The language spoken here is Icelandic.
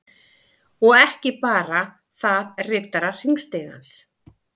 Og ekki bara þaðRiddarar_hringstigans